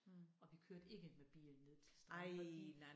Og vi kørte ikke med bil ned til stranden fordi